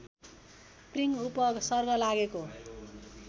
प्रिङ उपसर्ग लागेको